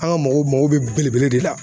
An ka mɔgɔw mago bɛ belebele de la.